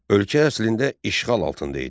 Ölkə əslində işğal altında idi.